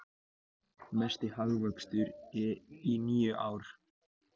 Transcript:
Mesti hagvöxtur í níu ár